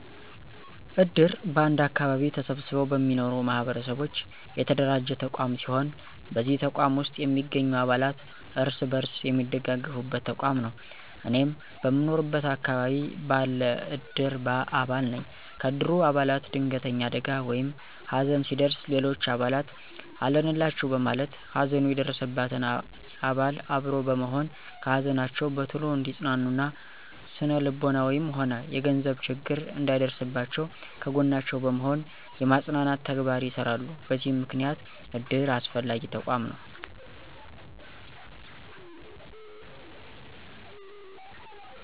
እድር በአንድ አከባቢ ተሰብስበው በሚኖሩ ማህበረሰቦች የተደራጀ ተቋም ሲሆን በዚህ ተቋም ውስጥ የሚገኙ አባላት እርስ በርስ የሚደጋገፉበት ተቋም ነው። እኔም በምኖርበት አከባቢ ባለ እድር አባል ነኝ። ከእድሩ አባላት ድንገተኛ አደጋ ወይም ሀዘን ሲደርስ ሌሎች አባላት አለንላቹ በማለት ሀዘኑ የደረሰበትን አባል አብሮ በመሆን ከሀዘናቸው በቶሎ እንዲፅናኑ እና ስነልቦናዊም ሆነ የገንዘብ ችግር እንዳይደርስባቸው ከጎናቸው በመሆን የማፅናናት ተግባር ይሰራሉ በዚህም ምክንያት እድር አስፈላጊ ተቋም ነው።